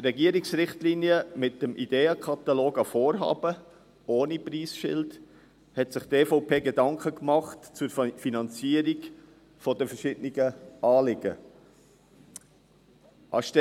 Regierungsrichtlinien mit dem Ideenkatalog an Vorhaben – ohne Preisschild –, hat sich die EVP Gedanken zur Finanzierung der verschiedenen Anliegen gemacht.